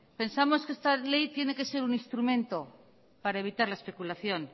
pensamos que esta ley tiene que ser un instrumento para evitar la especulación